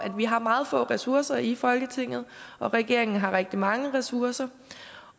vi har meget få ressourcer i folketinget og at regeringen har rigtig mange ressourcer